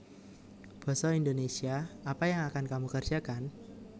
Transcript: Basa Indonésia Apa yang akan kamu kerjakan